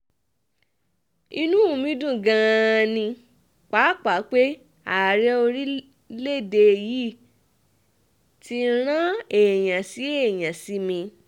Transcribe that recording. inú um mi dùn gan-an ni pàápàá pé ààrẹ orílẹ̀-èdè yìí ti rán èèyàn sí èèyàn sí mi um